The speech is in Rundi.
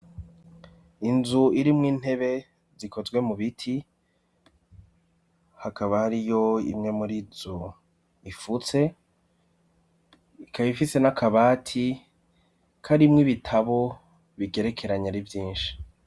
Inzu irimwo intebe zikozwe mu biti hakaba hari yo imwe muri zo ifutswe. Ikaba ifitse n'akabati karimw ibitabo bigerekeranye ari vyinshi.